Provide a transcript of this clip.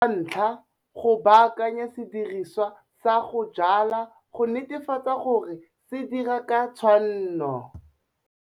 Sa 1 - Go baakanya sediriswa sa go jwala go netefatsa gore se dira ka tshwanno.